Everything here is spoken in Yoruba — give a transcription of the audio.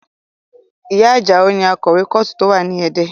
Ìyá Ajao ni akọ̀wé kọ́ọ̀tù tó wà ní Ẹdẹ